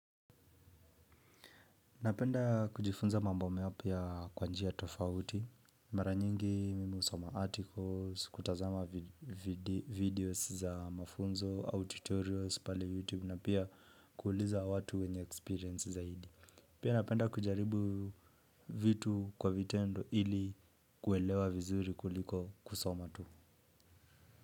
Napenda kujifunza mambo mapya kwa njii tofauti, maranyingi mi husoma articles, kutazama videos za mafunzo au tutorials pale YouTube na pia kuuliza watu wenye experience zaidi. Pia napenda kujaribu vitu kwa vitendo ili kuelewa vizuri kuliko kusoma tu.